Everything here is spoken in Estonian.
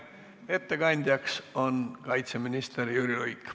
Ettekandja on kaitseminister Jüri Luik.